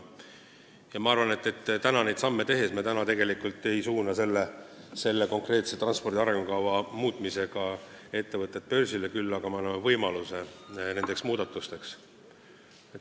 Ma arvan, et täna neid samme tehes, seda transpordi arengukava muutes me ei suuna ettevõtteid börsile, küll aga anname võimaluse nendeks muudatusteks.